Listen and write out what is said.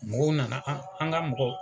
Mɔgɔw nana an ka mɔgɔw